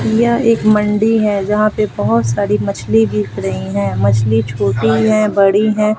यह एक मंडी है जहां पे बहोत सारी मछली बिक रही हैं मछली छोटी हैं बड़ी हैं।